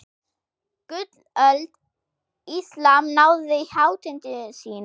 Gullöld Íslam náði hátindi sínum.